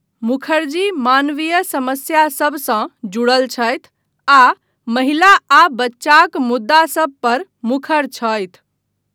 मुखर्जी मानवीय समस्यासभसँ जुड़ल छथि आ महिला आ बच्चाक मुद्दासभ पर मुखर छथि।